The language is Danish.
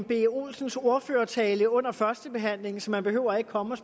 b olsens ordførertale under førstebehandlingen så man behøver ikke komme og